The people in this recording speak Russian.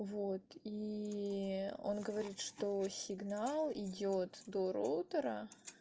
вот и он говорит что сигнал идёт до роутера